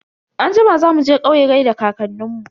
Anjima za muje kauye gaida kankanin mu.